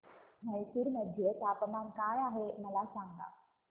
म्हैसूर मध्ये तापमान काय आहे मला सांगा